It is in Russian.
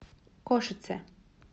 кошице